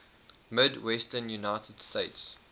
midwestern united states